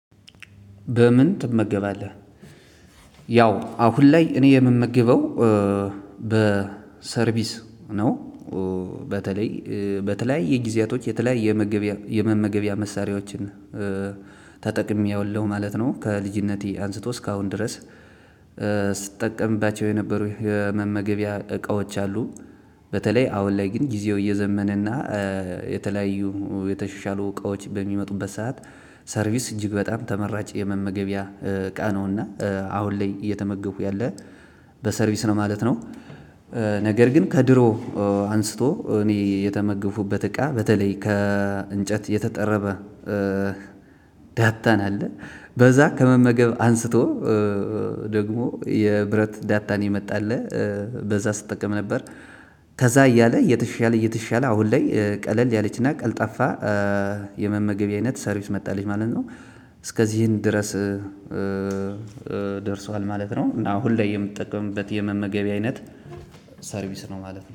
በምን? ትመገባለህ ያው አሁን ላይ እኔ የምመግበው በሰርቪስ ነው። በተለይ በተለያየ ጊዜያቶች የተለያየ የመመገቢያ መሳሪያዎችን ተጠቅሜዋለሁ ማለት ነው ከልጅነቴ አንስቶ እስከ አሁን ድረስ። የነበሩ የመመገቢያ እቃዎች አሉ። በተለይ አሁን ላይ ጊዜው እየዘመነ እና የተለያዩ የተሻሻሉ እቃዎች በሚመጡበት ሰዓት። ሰርቪስ እጅግ በጣም ተመራጭ የመመገቢያ እቃ ነውና አሁን ላይ እየተመገቡ ያለ በሰርቪስ ነው ማለት ነው። ነገር ግን ከድሮ አንስቶ እኔ የተመገብኩበት እቃ በተለይ ከእንጨት የተጠረበ። ዳታን አለ በዛ ከመመገብ አንስቶ። ደግሞ የብረት ዳታን የመጣለህ በዛ ስጠቀም ነበር። ከዛ እያለ እየተሻለ እየተሻለ አሁን ላይ ቀለል ያለችና ቀልጣፋ የመመገቢያ አይነት ሰርቪስ መታለች ማለት ነው። እስከዚህን ድረስ ደርሷል ማለት ነው። እና አሁን ላይ የምትጠቀምበት የመመገቢያ አይነት ሰርቪስ ነው ማለት ነው